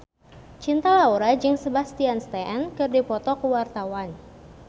Cinta Laura jeung Sebastian Stan keur dipoto ku wartawan